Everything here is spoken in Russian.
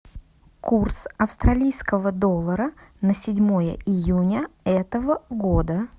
курс австралийского доллара на седьмое июня этого года